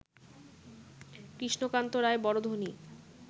কৃষ্ণকান্ত রায় বড় ধনী